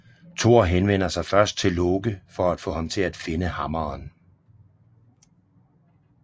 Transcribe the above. Thor henvender sig først til Loke for at få ham til at finde hammeren